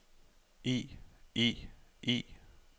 i i i